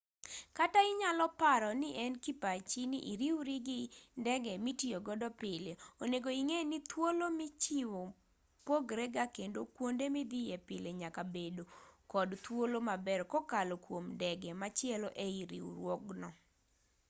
kata inyalo paro nien kipachi ni iriwri gi ndege mitiyo godo pile onego ing'e ni thuolo michiwo pogrega kendo kuonde midhiye pile nyalo bedo kod thuolo maber kokalo kuom ndege machielo eii riwruogno